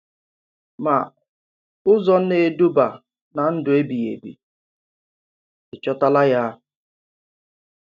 Mà ụzọ na-edùbà ná ndụ Ebíghì Ebi Ị Chòtàlà Ya?